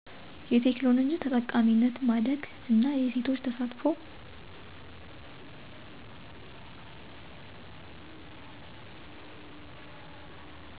የቴክኖሎጂ ተጠቃሚነት ማደግ እና የሴቶች ተሳትፎ